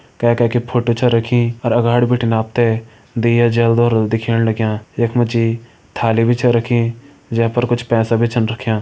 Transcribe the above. के के की फोटो छ रखीअर अगाड़ी बिटिन आप ते दिया जल्दा रोल दिखेण लग्यां यख मा जी थाली छ रखीं जे पर कुछ पैसा भी छन रख्यां।